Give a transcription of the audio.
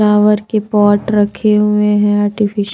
flower के pot रखे हुए हैंआर्टिफिश --